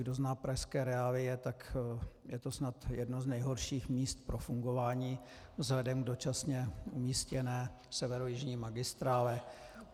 Kdo zná pražské reálie, tak je to snad jedno z nejhorších míst pro fungování vzhledem k dočasně umístěné severojižní magistrále.